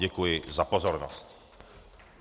Děkuji za pozornost.